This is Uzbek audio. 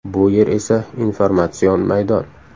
Bu yer esa informatsion maydon.